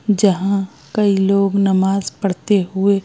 जहाँ कई लोग नमाज़ पढ़ते हुए --